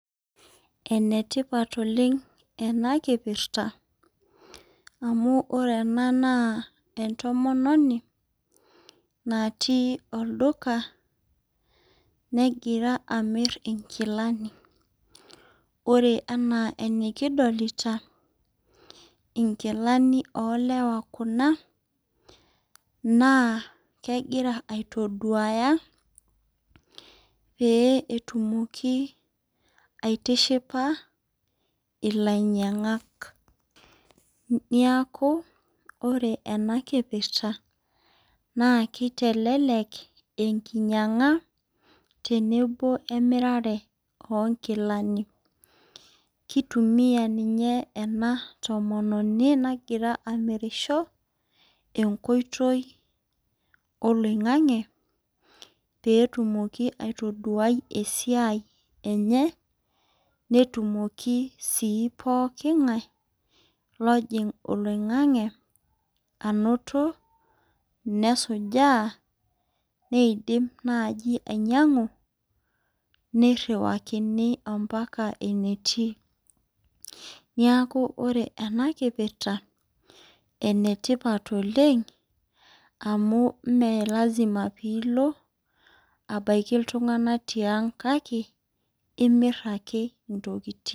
Enetipat oleng enakipirta anu orw ena na entomoni natii olduka negira amir inkilani ore ena enikidolita na nkilani olewa kuna na kegira aitoduaya peyie etumoki aitishipa ilainyangak neaku ore enekipirta na kitelelek enkinyanga teneno emirata onkilani kitumia ninye enatomoni nagira amirirsho enkoitoi oloingangi petumokibaitoduaya esiaia enye netumoki pooki ngae anoto nesujaa neidim naibainyangu niriwakini ambaka enetii neakubore enakipirta na enetipat oleng me lasima pilo abaki ltunganak tiang kake imir ake ntokitin.